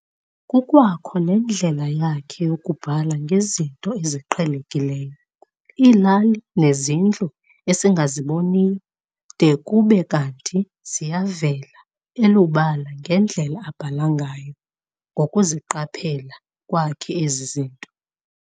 Kukwakho nendlela yakhe yokubhala ngezinto eziqhelekiyo- iilali nezindlu esingasaziboniyo --- de kube kanti ziyavela elubala ngendlela abhala ngayo ngokuziqaphela kwakhe ezi zinto.